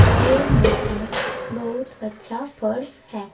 और नीचे बहुत अच्छा फर्श है।